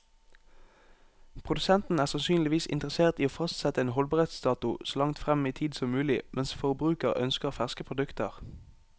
Produsenten er sannsynligvis interessert i å fastsette en holdbarhetsdato så langt frem i tid som mulig, mens forbruker ønsker ferske produkter.